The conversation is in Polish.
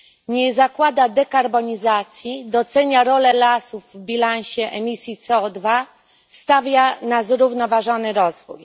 Nie zakłada dekarbonizacji, docenia rolę lasów w bilansie emisji CO2, stawia na zrównoważony rozwój.